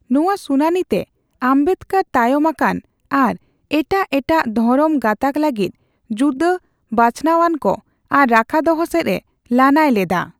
ᱱᱚᱣᱟ ᱥᱩᱱᱟᱹᱱᱤ ᱛᱮ, ᱟᱢᱵᱮᱫᱠᱚᱨ ᱛᱟᱭᱚᱢ ᱟᱠᱟᱱ ᱟᱨ ᱮᱴᱟᱜ ᱮᱴᱟᱜ ᱫᱷᱚᱨᱚᱢ ᱜᱟᱸᱛᱟᱠ ᱞᱟᱹᱜᱤᱫ ᱡᱩᱫᱟᱹ ᱵᱟᱪᱷᱱᱟᱣᱟᱱᱠᱚ ᱟᱨ ᱨᱟᱠᱷᱟᱫᱚᱦᱚ ᱥᱮᱡ ᱮ ᱞᱟᱹᱱᱟᱹᱭ ᱞᱮᱫᱟ ᱾